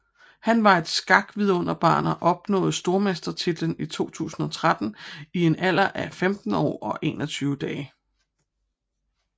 Han var et skakvidunderbarn og opnåede stormestertitlen i 2013 i en alder af 15 år og 21 dage